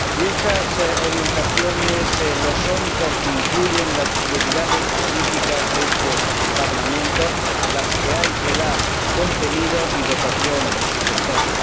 Son orientaciones porque incluyen las prioridades políticas de este Parlamento, a las que hay que dar contenido y dotación presupuestaria.